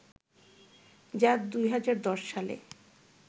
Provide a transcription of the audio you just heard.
যা ২০১০ সালে